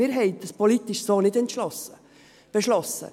Wir haben dies politisch so nicht beschlossen.